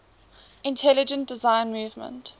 intelligent design movement